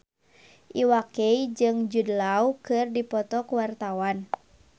Iwa K jeung Jude Law keur dipoto ku wartawan